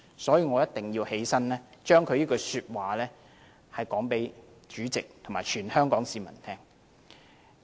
所以，我一定要起立發言，把他這番話告知主席和全香港市民。